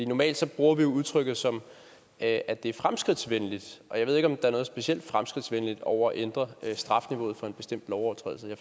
normalt bruger vi jo udtrykket som at det er fremskridtsvenligt og jeg ved ikke om der er noget specielt fremskridtsvenligt over at ændre strafniveauet for en bestemt lovovertrædelse jeg